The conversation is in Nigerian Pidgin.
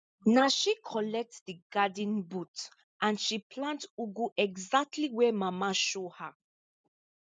na she collect di garden boot and she plant ugu exactly where mama show her